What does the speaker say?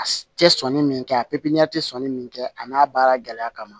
A tɛ sɔnni min kɛ a pipɲɛri tɛ sɔnni min kɛ a n'a baara gɛlɛya kama